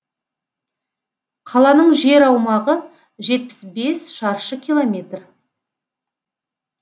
қаланың жер аумағы жетпіс бес шаршы километр